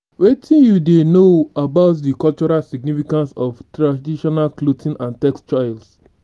wetin you dey know about di cultural significance of traditional clothing and textiles?